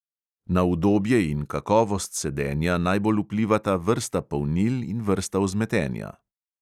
Na udobje in kakovost sedenja najbolj vplivata vrsta polnil in vrsta vzmetenja.